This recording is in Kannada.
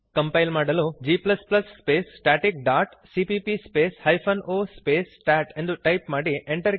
ಕಂಪೈಲ್ ಮಾಡಲು g space static dot CPP space hyphen o space stat ಎಂದು ಟೈಪ್ ಮಾಡಿರಿ